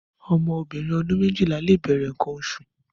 Ọmọ óbirin ọdun méjila lé bẹrẹ nkãn óṣu